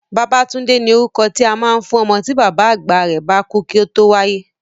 Babátúndé ni orúkọ tí a máa ń fún ọmọ tí bàbá àgbà rẹ̀ bá kú kí ó tó wáyé